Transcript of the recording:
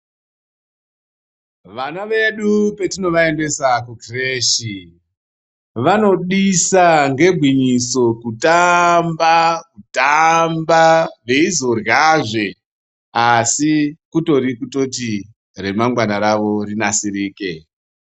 Vana vedu patinovaendesa kukireshi vanodisa ngegwinyiso kutamba, kutamba veizoryazve asi kutori kutoti remangwana ravo rinasirike.